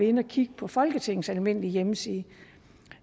inde at kigge på folketingets almindelige hjemmeside